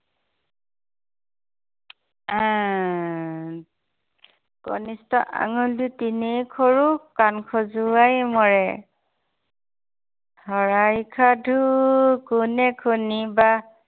কনিষ্ঠ আঙুলি তেনেই সৰু কান খঁজোৱাই মৰে। চৰাইৰ সাধু কোনে শুনিবা।